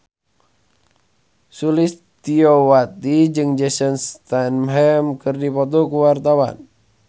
Sulistyowati jeung Jason Statham keur dipoto ku wartawan